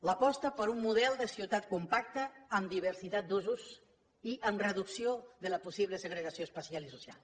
l’aposta per un model de ciutat compacta amb diversitat d’usos i amb reducció de la possible segregació espacial i social